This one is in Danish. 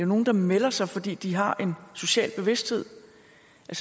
nogle der melder sig fordi de har en social bevidsthed